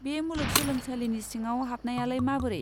बे मुलुग सोलोंसालिनि सिङाव हाबनायालाय माबोरै?